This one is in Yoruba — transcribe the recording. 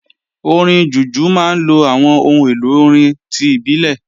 Orin Jùjú máa ń lo àwọn ohun èlò orin ti ìbílẹ̀